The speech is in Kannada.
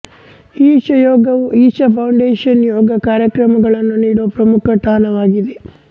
ಈಶಾ ಯೋಗವು ಈಶಾ ಫೌಂಡೇಶನ್ ಯೋಗ ಕಾರ್ಯಕ್ರಮಗಳನ್ನು ನೀಡುವ ಪ್ರಮುಖ ತಾಣವಾಗಿದೆ